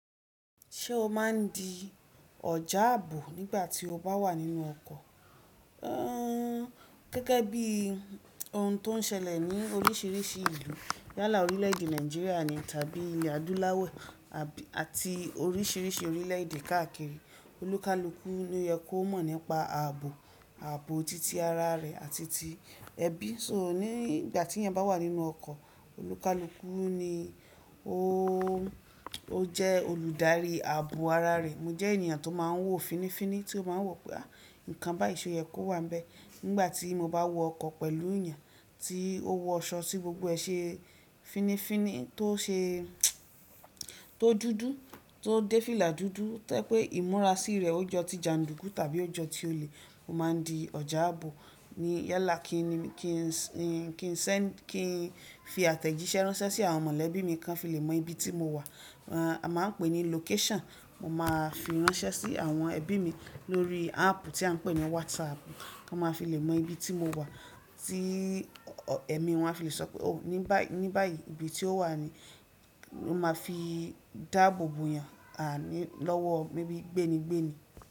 Ṣé o máa ń di ọ̀já àbò nígbà tí o bá wà nínú ọkọ̀? Ẹ gẹ́gẹ́ bí ohun tó ń ṣẹlẹ̀ ní oríṣiríṣi ìlú, yálà orílè-èdè Nàìjíríà ni tàbí ilẹ̀ adúláwọ̀ àbí àti oríṣiríṣi orílè-èdè káàkiri, olúkalúkú ni ó yẹ kó mọ̀ nípa ààbò, ààbò titi ara rẹ̀ àti ti ẹbí. So nígbà tí èèyàn bá wà nínú ọkọ̀, olúkalúkú ni ó, ó jẹ́ olùdarí ààbò ara rẹ̀. Mo jẹ́ ènìyàn tó máa ń wò finifíní tí ó máa ń wọ̀ pé, àh! Nǹkan bá ìṣò yẹ kó wà níbẹ̀. Nígbà tí mo bá wọ ọkọ̀ pẹ̀lú ènìyàn tí ó wọ aṣọ tí gbogbo ẹ̀ ṣe finifíní tó ṣe, tó dúdú, tó dé fílà dúdú, tẹ́ pé ìmúra sí rẹ̀ ó jọ ti jandùkú tàbí ó jọ ti olè, mo máa ń di ọjà àbò. Ni yálà kí n, kí n sẹ́, kí n fi àtẹ̀jíṣẹ́ ránṣẹ́ sí àwọn mọ̀lẹ́bí mi kan fi lè mọ ibi tí mo wà. A máa ń pè ní location. Mo máa fi ránṣẹ́ sí àwọn ẹbí mi lórí áàpù tí a ń pè ní WhatsApp. Wọ́n máa fi lè mọ ibi tí mo wà tí ẹ̀mí wọn a fi lè sọ pé òun ní báyìí, ní báyìí ibi tí ó wà ni. Mo máa fi dáàbò bo ènìyàn, àní, lọ́wọ́ maybe gbéni gbéni.